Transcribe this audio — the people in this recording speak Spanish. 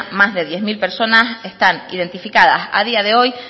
más de diez mil personas están identificadas a día de hoy